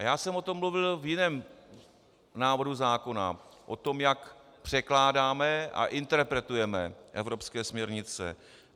A já jsem o tom mluvil v jiném návrhu zákona, o tom, jak překládáme a interpretujeme evropské směrnice.